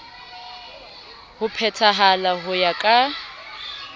ho phethahala ho ya ka